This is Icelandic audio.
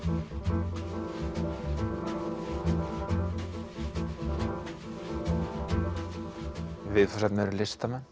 viðfangsefnið eru listamenn